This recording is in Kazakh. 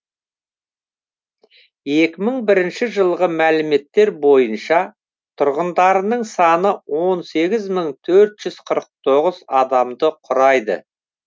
екі мың бірінші жылғы мәліметтер бойынша тұрғындарының саны он сегіз мың бір жүз қырық тоғыз адамды құрайды